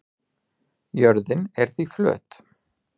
Jörðin er því flöt.